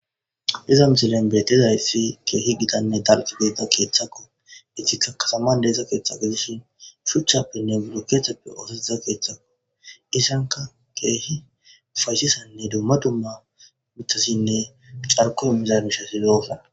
iza misilen bietezayfi keehi gidanne dalqi geeta keeththakko ictikka kataman deesa keeththa gedishin shuchchappenne gurukethappe oosotiza keethcthakko isanka keehi fayshisanne dumma dumma mithasinne xarko emmizabishasi zosa